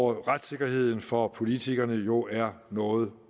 retssikkerheden for politikerne jo er noget